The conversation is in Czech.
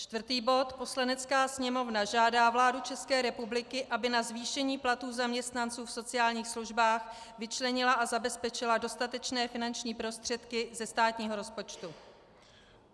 Čtvrtý bod: Poslanecká sněmovna žádá vládu České republiky, aby na zvýšení platů zaměstnanců v sociálních službách vyčlenila a zabezpečila dostatečné finanční prostředky ze státního rozpočtu.